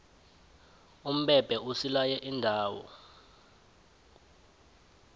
umbebhe usilaye iindawo